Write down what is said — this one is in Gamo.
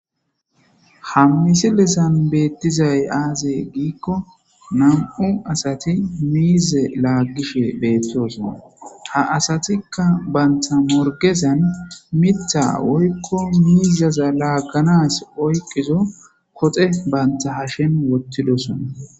Ha misilezan betizay aze gikon 2 asat mize lagishe betosona , ha asatika banta morgezan Mitha woyko miza laganas oykida koxe wothidosona